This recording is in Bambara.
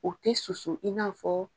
U te susu i n'a fɔ